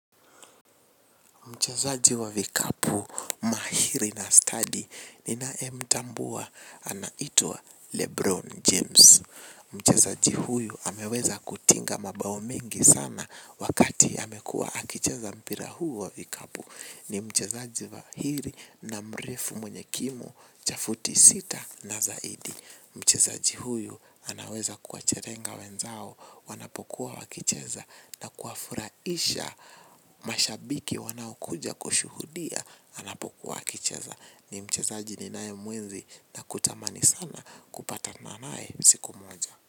Mchezaji wa vikapu mahiri na stadi ninaye mtambua anaitwa Lebron James. Mchazaji huyu ameweza kutinga mabao mengi sana wakati amekua akicheza mpira huu wa vikapu. Ni mchezaji mahiri na mrefu mwenye kimo cha futi sita na zaidi. Mchezaji huyu anaweza kuwacherenga wenzao wanapokuwa wakicheza na kuafurahisha mashabiki wanaokuja kushuhudia anapokuwa akicheza. Ni mchezaji ninaye muenzi na kutamani sana kupatana naye siku moja.